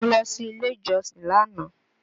Mo lọ sí ilé ìjọsìn lánàá.